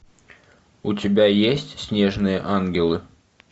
у тебя есть снежные ангелы